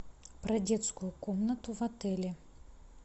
про детскую комнату в отеле